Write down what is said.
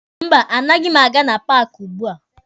Mba, anaghị m aga na paaki ugbua.